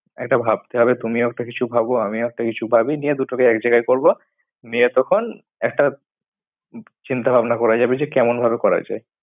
একটা ভাবতে হবে তুমিও একটা কিছু ভাবো আমিও একটা কিছু পাবি নিয়ে দুটোকে এক জায়গায় করবো। নিয়ে তখন একটা চিন্তা ভাবনা করা যাবে যে কেমন ভাবে করা যায়।